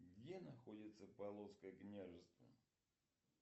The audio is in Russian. где находится полоцкое княжество